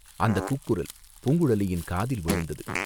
அந்தக் கூக்குரல் பூங்குழலியின் காதில் விழுந்தது.